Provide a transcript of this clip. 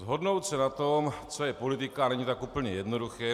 Shodnout se na tom, co je politika, není tak úplně jednoduché.